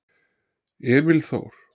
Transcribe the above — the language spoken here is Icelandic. Emil Þór.